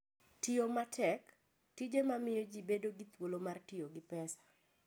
Tiyo Matek: Tije mamiyo ji bedo gi thuolo mar tiyo gi pesa.